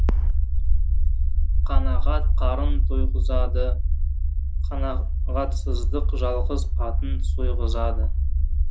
қанағат қарын тойғызады қанағатсыздық жалғыз атын сойғызады